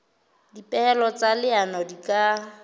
dipehelo tsa leano di ka